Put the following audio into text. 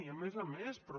i a més a més però